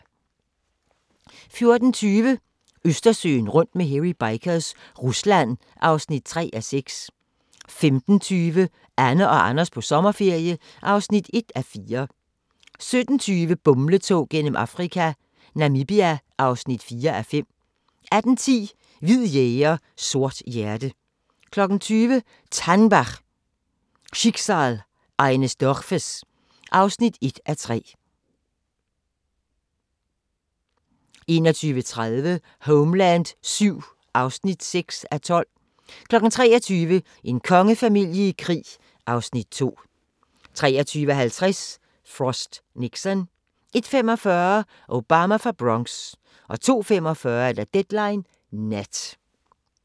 14:20: Østersøen rundt med Hairy Bikers – Rusland (3:6) 15:20: Anne og Anders på sommerferie (1:4) 17:20: Bumletog gennem Afrika - Namibia (4:5) 18:10: Hvid jæger, sort hjerte 20:00: TANNBACH - Schicksal eines Dorfes (1:3) 21:30: Homeland VII (6:12) 23:00: En kongefamilie i krig (Afs. 2) 23:50: Frost/Nixon 01:45: Obama fra Bronx 02:45: Deadline Nat